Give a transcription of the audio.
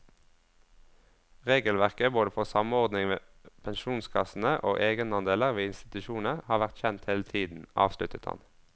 Regelverket både for samordning med pensjonskassene og egenandeler ved institusjoner har vært kjent hele tiden, avsluttet han.